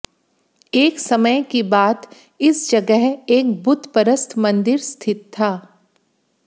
एक समय की बात इस जगह एक बुतपरस्त मंदिर स्थित था